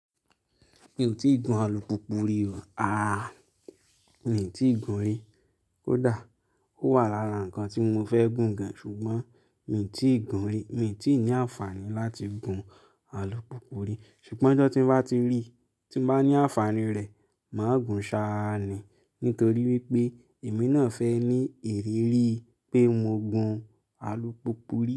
Mi ò tí ì gun alùpùpù rí o. Aaa, mi ò tí ì gun rí. Kódà ó wà lára nǹkan tí mo fẹ́ gùn gan-an ṣùgbọ́n mi ò tí ì gun rí. Mi ò tí ì ní àǹfààní láti gun alùpùpù rí. Ṣùgbọ́n ọjọ́ tí n bá ti rí, tí n bá ní àǹfààní rẹ̀, màá gùn ṣáá ni. Nítorí wípé èmi náà fẹ́ ní ìrírí pé mo gun alùpùpù rí.